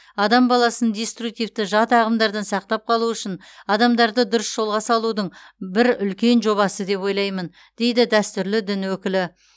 адам баласын диструктивті жат ағымдардан сақтап қалу үшін адамдарды дұрыс жолға салудың бір үлкен жобасы деп ойлаймын дейді дәстүрлі дін өкілі